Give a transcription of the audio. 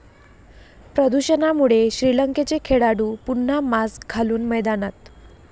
प्रदूषणामुळे श्रीलंकेचे खेळाडू पुन्हा मास्क घालून मैदानात